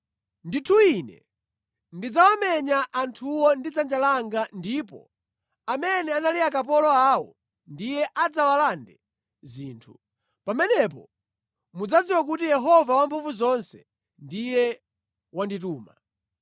Ndithu Ine ndidzawamenya anthuwo ndi dzanja langa ndipo amene anali akapolo awo ndiye adzawalande zinthu. Pamenepo mudzadziwa kuti Yehova Wamphamvuzonse ndiye wandituma.